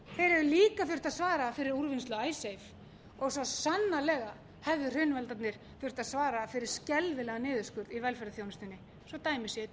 hefðu líka þurft að svara fyrir úrvinnslu icesave og svo sannarlega hefðu hrunvaldarnir þurft að svara fyrir skelfilegan niðurskurð í velferðarþjónustunni svo að dæmi séu